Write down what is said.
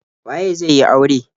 Waye zai yi aure.